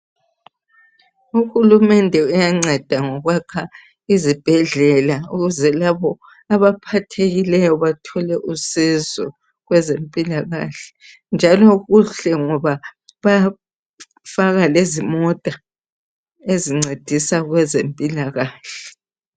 UHulumende uyanceda ngokwakha izibhedlela ukuze labo abaphathekileyo bathole usizo kwezempilakahle njalo kuhle ngoba bayafaka lezimota ezincedisa kwezempilakahle.